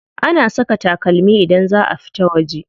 Ana saka takalmi idan za a fita waje.